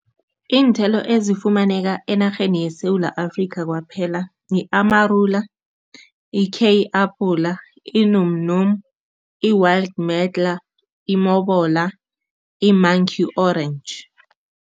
Iinthelo ezifumaneka enarheni yeSewula Afrika kwaphela, yi-amarula, i-kei apula, i-num num, i-wild medlar, i-mobola, i-monkey orange.